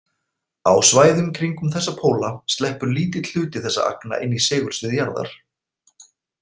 Á svæðum kringum þessa póla sleppur lítill hluti þessara agna inn í segulsvið jarðar.